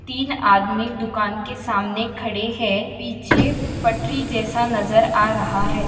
तीन आदमी दुकान के सामने खड़े है पीछे पटरी जैसा नजर आ रहा है।